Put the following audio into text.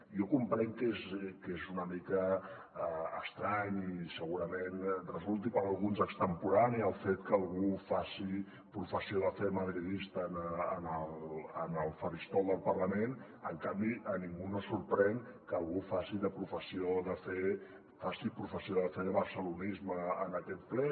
jo comprenc que és una mica estrany i segurament resulti per a alguns extemporani el fet que algú faci professió de fe madridista en el faristol del parlament en canvi a ningú no sorprèn que algú faci professió de fe de barcelonisme en aquest ple